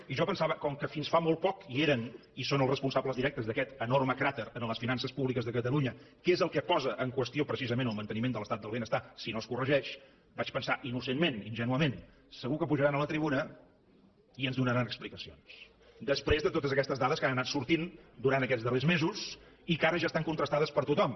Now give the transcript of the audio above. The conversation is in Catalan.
i jo pensava com que fins fa molt poc hi eren i són els responsables directes d’aquest enorme cràter en les finances públiques de catalunya que és el que posa en qüestió precisament el manteniment de l’estat del benestar si no es corregeix vaig pensar innocentment ingènuament segur que pujaran a la tribuna i ens en donaran explicacions després de totes aquestes dades que han anat sortint durant aquests darrers mesos i que ara ja estan contrastades per tothom